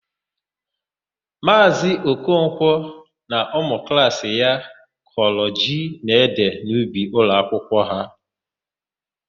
Maazị Okonkwọ na ụmụklaasị ya kọrọ ji na ede n'ubi ụlọakwụkwọ ha.